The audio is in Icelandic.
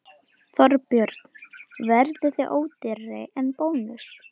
Þorbjörn: Verðið þið ódýrari en Bónus?